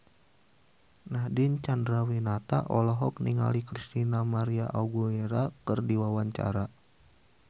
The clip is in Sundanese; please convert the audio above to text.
Nadine Chandrawinata olohok ningali Christina María Aguilera keur diwawancara